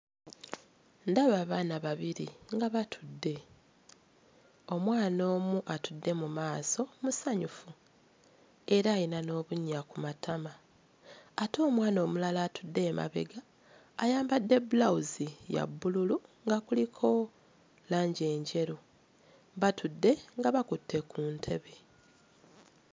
Ndaba abaana babiri nga batudde. Omwana omu atudde mu maaso musanyufu era alina n'obunnya ku matama ate omwana omulala atudde emabega ayambadde bbulawuzi ya bbululu nga kuliko langi enjeru, batudde nga bakutte ku ntebe.